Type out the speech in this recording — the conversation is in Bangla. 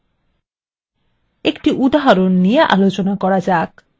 একটি উদাহরণ নিয়ে আলোচনা করা যাক: